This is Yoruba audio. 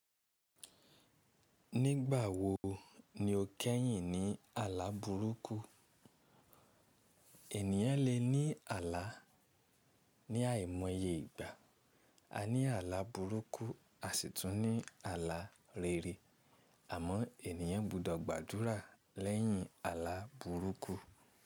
Nígbà wo ni o kẹ́yìn ní àlá burúkú? Ènìyàn lè ní àlá ní àìmọye ìgbà. A ní àlá burúkú, a sì tún ní àlá rere, àmọ́ ènìyàn gbọdọ̀ gbàdúrà lẹ́yìn àlá burúkú.